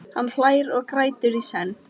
Hann hlær og grætur í senn.